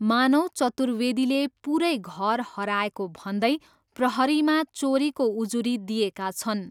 मानव चतुर्वेदीले पुरै घर हराएको भन्दै प्रहरीमा चोरीको उजुरी दिएका छन्।